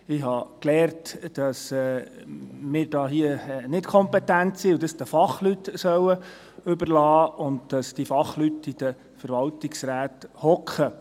Ich habe gelernt, dass wir hier nicht kompetent sind und es den Fachleuten überlassen sollen und dass diese Fachleute in den Verwaltungsräten sitzen.